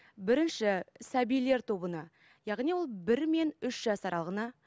бірінші сәбилер тобына яғни ол бір мен үш жас аралығына